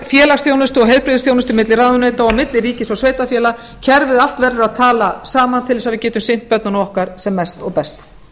og heilbrigðisþjónustu milli ráðuneyta og milli ríkis og sveitarfélaga kerfið allt verður að tala saman til að við getum sinnt börnunum okkar sem mest og best